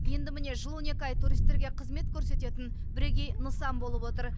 енді міне жыл он екі ай туристерге қызмет көрсететін бірегей нысан болып отыр